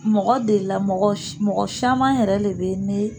Mɔgɔ delila, mɔgɔ mɔgɔ caman yɛrɛ le bɛ ne